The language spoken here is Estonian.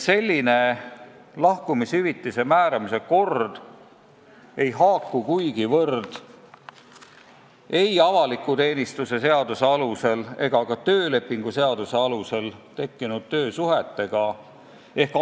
Selline lahkumishüvitise määramise kord ei haaku kuigivõrd korraga, mis kehtib avaliku teenistuse seaduse alusel või töölepingu seaduse alusel tekkinud töösuhete puhul.